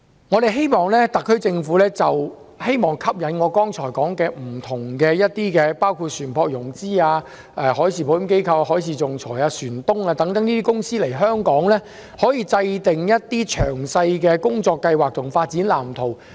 我希望特區政府可以就吸引我剛才提到包括船舶融資機構、海事保險公司、海事仲裁機構、船東等來港，制訂詳細的工作計劃和發展藍圖。